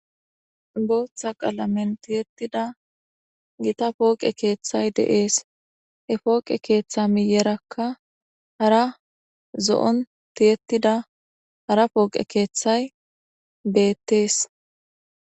booththa qalamen tiyettida gita pooqe keeththay deees he pooqe keeththa miyerakka hara zo7on tiyettida hara pooqe keeththay beettees